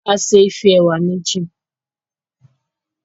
A ṣe Ife ẹwà méjì